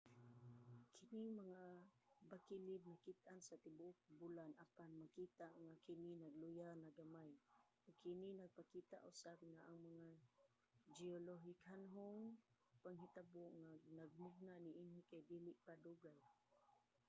kining mga bakilid nakit-an sa tibuok bulan apan makita nga kini nagluya na gamay ug kini nagpakita usab nga ang mga geolohikanhong panghitabo nga nagmugna niini kay dili pa dugay